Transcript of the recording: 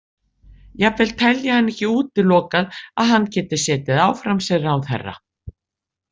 Jafnvel telji hann ekki útilokað að hann geti setið áfram sem ráðherra.